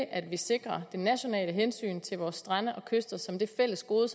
at vi sikrer det nationale hensyn til vores strande og kyster som det fælles gode